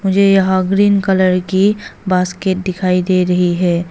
मुझे यहां green colour की बास्केट दिखाई दे रही है।